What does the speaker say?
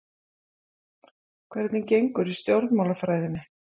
Hvernig gengur í stjórnmálafræðinni?